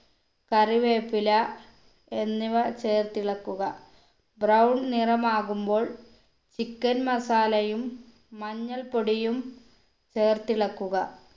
കറിവേപ്പില എന്നിവ ചേർത്തിളക്കുക brown നിറമാകുമ്പോൾ chicken masala യും മഞ്ഞൾപ്പൊടിയും ചേർത്തിളക്കുക